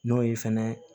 N'o ye fɛnɛ